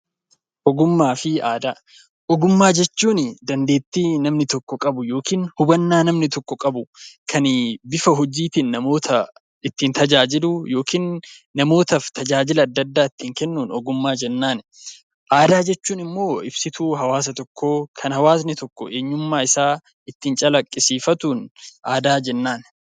Ogummaa fi aadaa. Ogummaa jechuun dandeettii namni tokko qabu yookiin hubannaa namni tokko qabu, kan bifa hojiitiin namoota ittiin tajaajilu yookiin namootaaf tajaajila adda addaa ittiin kennuun 'Ogummaa' jennaan. Aadaa jechuun immoo ibsituu hawaasa tokkoo, kan hawaasni tokko eenyummaa isaa ittiin calaqqisiifatuun 'Aadaa' jennaan.